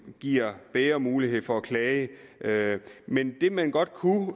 giver bedre mulighed for at klage men det man godt kunne